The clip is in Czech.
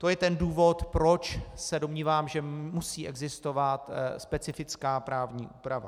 To je ten důvod, proč se domnívám, že musí existovat specifická právní úprava.